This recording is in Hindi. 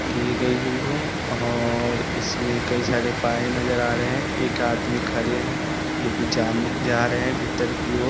किए गयी हुई है और इसमें कई सारे पाये नज़र आ रहे हैं। एक आदमी खड़े है जो की जान-जा रहे हैं भीतर की ओर।